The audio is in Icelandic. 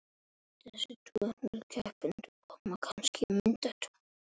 Ekkert kætir hann.